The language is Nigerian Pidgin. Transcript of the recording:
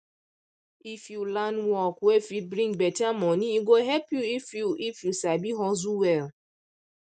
if you learn work wey fit bring better money e go help you if you if you sabi hustle well